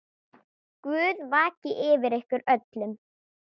Guð vaki yfir ykkur öllum.